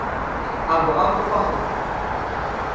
a bo a kopa go